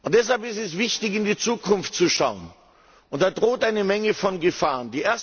Deshalb ist es wichtig, in die Zukunft zu schauen, und da drohen eine Menge Gefahren.